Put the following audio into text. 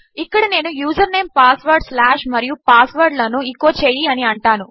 ఇక్కడనేను username ఫార్వర్డ్స్లాష్మరియు password లను echo చేయిఅనిఅంటాను